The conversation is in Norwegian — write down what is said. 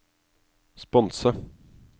sponse